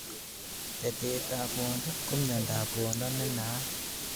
Betetab rwondo ko myondob rwondo ne naat